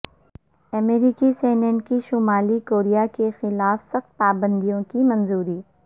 امریکی سینیٹ کی شمالی کوریا کے خلاف سخت پابندیوں کی منظوری